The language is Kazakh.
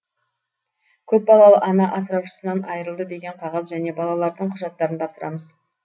көпбалалы ана асыраушысынан айырылды деген қағаз және балалардың құжаттарын тапсырамыз